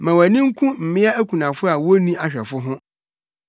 Ma wʼani nku mmea akunafo a wonni ahwɛfo ho.